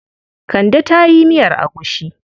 Kande ta yi miyar agushi.